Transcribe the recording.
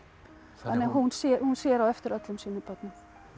þannig að hún sér hún sér á eftir öllum sínum börnum